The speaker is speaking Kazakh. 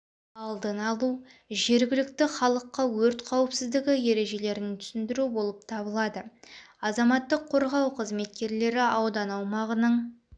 алдын алу жергілікті халыққа өрт қауіпсіздігі ережелерін түсіндіру болып табылады азаматтық қорғау қызметкерлері аудан аумағының